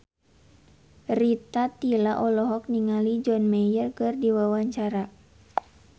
Rita Tila olohok ningali John Mayer keur diwawancara